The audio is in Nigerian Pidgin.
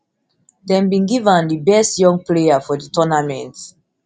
dem bin give am di best young player for di tournament